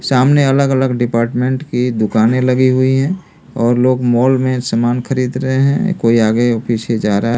सामने अलग-अलग डिपार्टमेंट की दुकानें लगी हुई हैं और लोग मॉल में सामान खरीद रहे हैं कोई आगे पीछे जा रहा है।